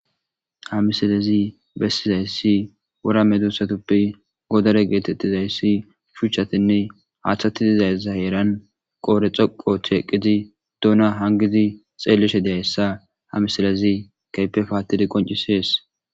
ha misalezi bessizayssi wora medusatappe godore geetettizayssi shuchatinne haaththati dizaysa heeran qoore xoqo theeqqidi duuna hangidi xeellishe deessa hamisalezi keype paattidi qoncisees